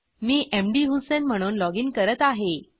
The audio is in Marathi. मी मधुसेईन म्हणून लॉगिन करत आहे